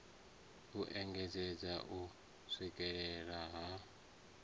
u engedzedza u swikela ha